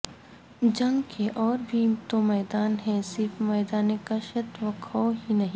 جنگ کے اور بھی تو میداں ہیں صرف میدان کشت و خوں ہی نہیں